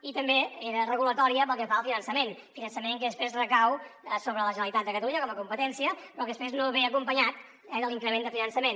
i també era regulatòria pel que fa al finançament finançament que després recau sobre la generalitat de catalunya com a competència però que després no ve acompanyat de l’increment de finançament